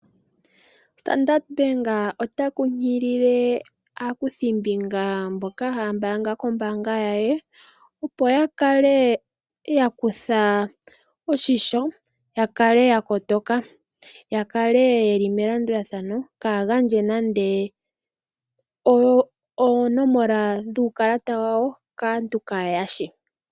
Ombaanga yoStandard otayi kunkilile aakuthimbinga mboka haya mbaanga kombanga yaye opo yakale yakutha oshisho yakale yakotoka, yakale yeli melandulathano kaagandje nande onomola yuukalata wawo kaantu kaye yashi.